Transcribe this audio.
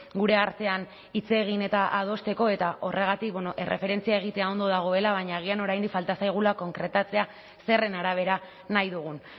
gure artean hitz egin eta adosteko eta horregatik erreferentzia egitea ondo dagoela baina agian oraindik falta zaigula konkretatzea zeren arabera nahi dugun